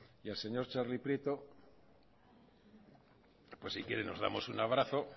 y al señor txarli prieto pues si quiere nos damos un abrazo